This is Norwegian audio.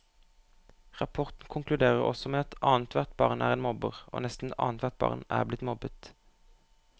Rapporten konkluderer også med at annethvert barn er en mobber, og nesten annethvert barn er blitt mobbet.